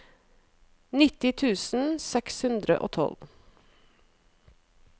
nitti tusen seks hundre og tolv